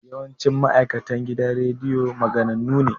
Yawancin ma'aikatan gidan rediyo maganannu ne